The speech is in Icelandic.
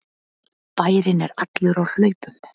Bærinn er allur á hlaupum!